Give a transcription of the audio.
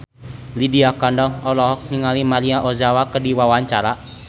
Lydia Kandou olohok ningali Maria Ozawa keur diwawancara